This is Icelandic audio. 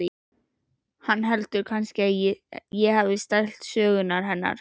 Hann heldur kannski að ég hafi stælt sögurnar hennar.